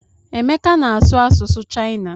Emeka na-asụ asụsụ shịana.